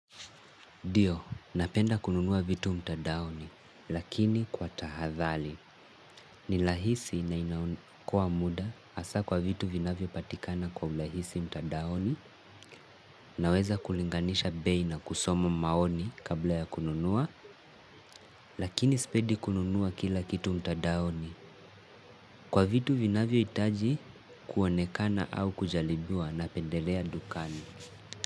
Dio, napenda kununua vitu mtandaoni, lakini kwa tahathali. Nilahisi na inakoa muda asa kwa vitu vinavyo patikana kwa ulahisi mtadaoni, naweza kulinganisha bei na kusoma maoni kabla ya kununua, lakini spedi kununua kila kitu mtadaoni. Kwa vitu vinavyo itaji kuonekana au kujalibiwa na pendelea dukani.